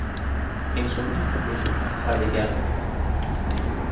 Eins og Íslendingur, sagði Bjarni.